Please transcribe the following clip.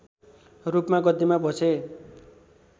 रूपमा गद्दीमा बसे